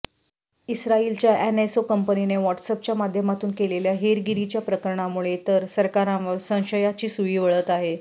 इस्राईलच्या NSO कंपनीने व्हॉटस्ऍपच्या माध्यमातून केलेल्या हेरगिरीच्या प्रकरणामुळे तर सरकारांवर संशयाची सुई वळत आहे